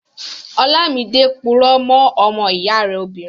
Ọlámidé purọ́ mọ́ ọmọ ìyá rẹ̀ obìnrin